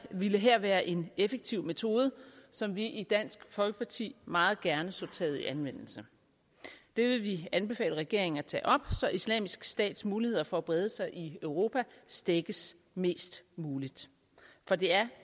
ville her være en effektiv metode som vi i dansk folkeparti meget gerne så taget i anvendelse det vil vi anbefale regeringen at tage op så islamisk stats muligheder for at brede sig i europa stækkes mest muligt for det er